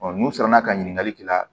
n'u sera ka ɲininkali k'i la